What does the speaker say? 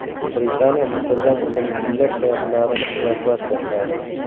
Britaniya Misrdan o‘zining minglab sayyohlarini evakuatsiya qiladi.